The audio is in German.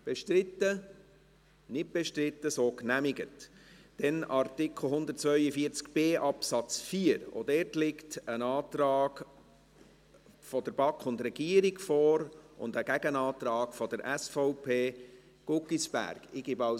BauG, auch dort liegt ein Antrag der BaK und der Regierung und ein Gegenantrag der SVP Guggisberg vor.